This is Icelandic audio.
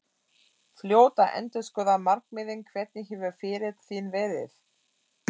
Fljót að endurskoða markmiðin Hvernig hefur ferill þinn verið?